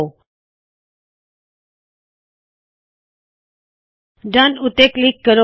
ਅਤੇ ਡੋਨ ਉੱਤੇ ਕਲਿੱਕ ਕਰੋ